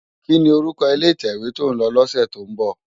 Kini órúkò ilé itèwé tó n lò lòsè tó n bò?